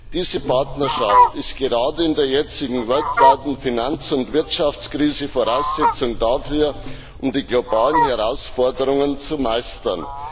Diese Partnerschaft ist gerade in der jetzigen weltweiten Finanz und Wirtschaftskrise Voraussetzung dafür, die globalen Herausforderungen zu meistern.